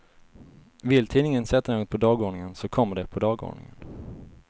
Vill tidningen sätta något på dagordningen, så kommer det på dagordningen.